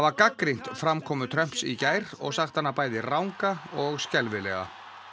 gagnrýnt framkomu Trumps í gær og sagt hana bæði ranga og skelfilega